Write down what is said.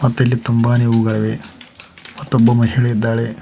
ದಲ್ಲಿ ತುಂಬಾನೇ ಹೂಗಳಿವೆ ಮತ್ತೊಬ್ಬ ಮಹಿಳೆ ಇದ್ದಾಳೆ.